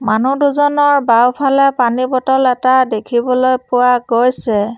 মানুহ দুজনৰ বাওঁফালে পানীৰ বটল এটা দেখিবলৈ পোৱা গৈছে।